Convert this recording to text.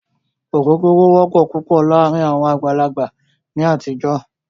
Ògógóró wọ́pọ̀ púpọ̀ láàárín àwọn àgbàlagbà ní àtijọ́.